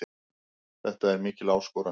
Þetta er mikil áskorun.